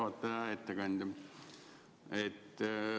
Hea juhataja ja ettekandja!